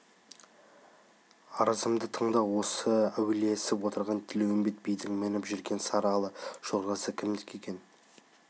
арызымды тыңда осы әулиесіп отырған тілеуімбет бидің мініп жүрген сары ала жорғасы кімдікі екен